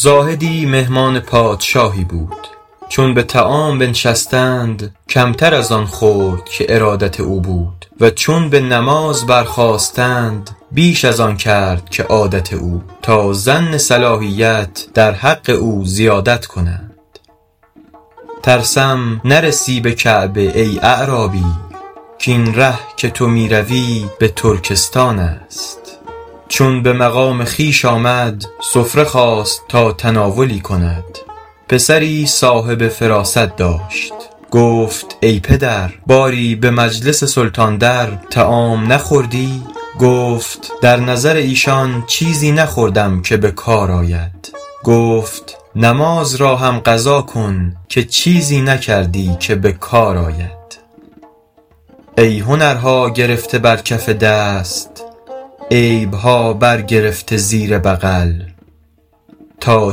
زاهدی مهمان پادشاهی بود چون به طعام بنشستند کمتر از آن خورد که ارادت او بود و چون به نماز برخاستند بیش از آن کرد که عادت او تا ظن صلاحیت در حق او زیادت کنند ترسم نرسی به کعبه ای اعرابی کاین ره که تو می روی به ترکستان است چون به مقام خویش آمد سفره خواست تا تناولی کند پسری صاحب فراست داشت گفت ای پدر باری به مجلس سلطان در طعام نخوردی گفت در نظر ایشان چیزی نخوردم که به کار آید گفت نماز را هم قضا کن که چیزی نکردی که به کار آید ای هنرها گرفته بر کف دست عیبها بر گرفته زیر بغل تا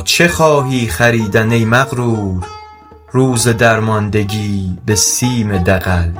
چه خواهی خریدن ای مغرور روز درماندگی به سیم دغل